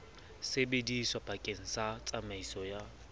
sebediswa bakeng sa tsamaiso ya